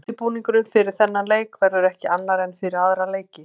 Undirbúningurinn fyrir þennan leik verður ekki annar en fyrir aðra leiki.